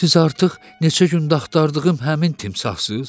Siz artıq neçə gündür axtardığım həmin timsahsız?